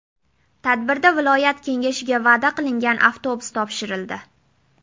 Tadbirda viloyat kengashiga va’da qilingan avtobus topshirildi.